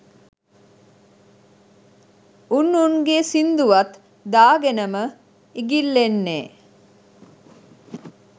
උන් උන්ගේ සිංදුවත් දාගෙනම ඉගිල්ලෙන්නේ